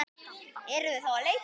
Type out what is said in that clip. Eruð þið þá að leita?